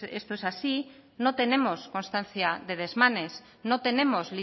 esto es así no tenemos constancia de desmanes no tenemos